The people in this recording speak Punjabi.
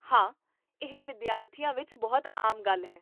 ਹਾਂ, ਇਹ ਵਿਦਿਆਰਥੀਆਂ ਵਿੱਚ ਬਹੁਤ ਆਮ ਗੱਲ ਹੈ